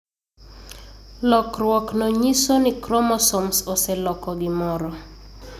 Lokruokno nyiso ni chromosomes oseloko gimoro.